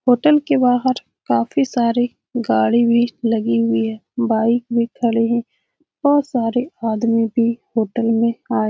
hotel के बाहर काफी सारे गाड़ी भी लगी हुई है बाइक भी खड़े हैं बहुत सारे आदमी भी होटल में आए --